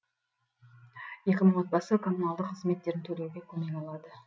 екі мың отбасы коммуналдық қызметтерін төлеуге көмек алады